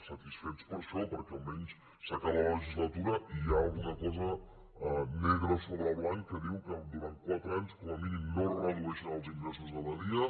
satisfets per això perquè almenys s’acaba la legislatura i hi ha alguna cosa negre sobre blanc que diu que durant quatre anys com a mínim no es redueixen els ingressos de badia